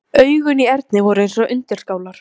Augun í Erni voru eins og undirskálar.